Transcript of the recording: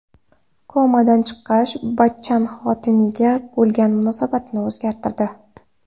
Komadan chiqqach Bachchan xotiniga bo‘lgan munosabatini o‘zgartirdi.